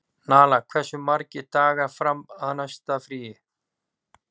Nala, hversu margir dagar fram að næsta fríi?